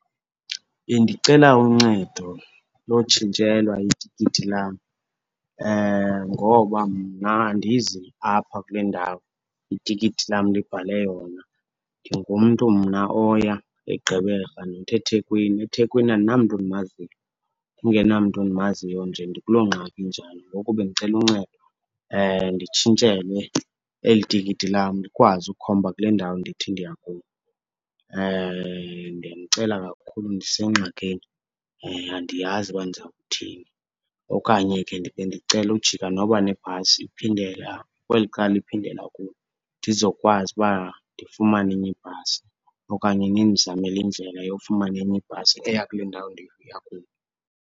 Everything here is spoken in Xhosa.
Bendicela uncedo lotshintshelwa itikiti lam, ngoba mna andizi apha kule ndawo itikiti lam libhale yona. Ndingumntu mna oya eGqeberha not eThekwini, eThekwini andinamntu ndimaziyo. Ndingenamntu ndimaziyo nje ndikuloo ngxaki injalo. Ngoku bendicela uncedo, nditshintshelwe eli tikiti lam likwazi ukhomba kule ndawo ndithi ndiya kuyo. Ndiyanicela kakhulu ndisengxakini, andiyazi uba ndizawuthini. Okanye ke bendicela ujika noba nebhasi iphindela kweli cala iphindela kulo ndizokwazi uba ndifumane enye ibhasi. Okanye ndindizamele indlela yofumana enye ibhasi eya kule ndawo ndiya kuyo.